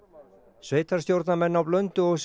sveitarstjórnarmenn á Blönduósi